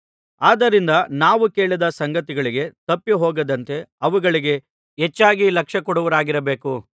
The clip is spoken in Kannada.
ಆದ್ದರಿಂದ ನಾವು ಕೇಳಿದ ಸಂಗತಿಗಳಿಗೆ ತಪ್ಪಿಹೋಗದಂತೆ ಅವುಗಳಿಗೆ ಹೆಚ್ಚಾಗಿ ಲಕ್ಷ್ಯಕೊಡುವವರಾಗಿರಬೇಕು